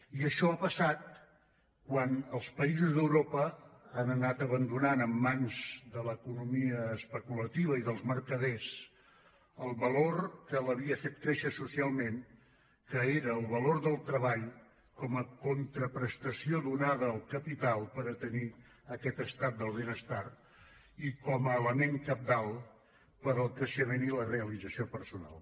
i això ha passat quan els països d’europa han anat abandonant en mans de l’economia especulativa i dels mercaders el valor que l’havia fet créixer socialment que era el valor del treball com a contraprestació donada al capital per tenir aquest estat del benestar i com a element cabdal per al creixement i la realització personal